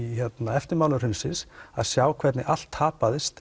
eftirmála hrunsins að sjá hvernig allt tapaðist